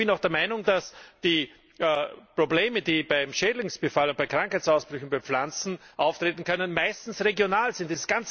Ich bin auch der Meinung, dass die Probleme, die beim Schädlingsbefall und bei Krankheitsausbrüchen bei Pflanzen auftreten können, meistens regional sind.